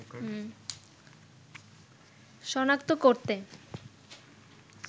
সনাক্ত করতে